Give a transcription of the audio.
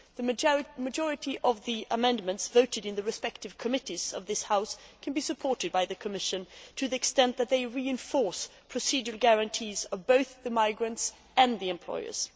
The majority of the amendments voted in the respective committees of this House can be supported by the Commission to the extent that they reinforce procedural guarantees for both the migrants and the employers.